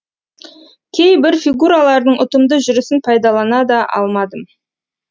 кейбір фигуралардың ұтымды жүрісін пайдалана да алмадым